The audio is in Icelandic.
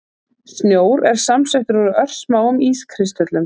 Snjór er samsettur úr örsmáum ískristöllum.